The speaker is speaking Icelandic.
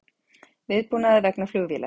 Viðbúnaður vegna flugvélar